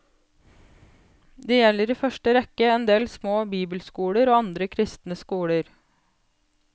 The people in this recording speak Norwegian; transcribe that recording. Det gjelder i første rekke endel små bibelskoler og andre kristne skoler.